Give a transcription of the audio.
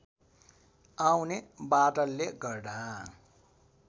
आउने बादलले गर्दा